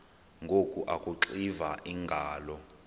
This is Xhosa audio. ngoku akuxiva iingalo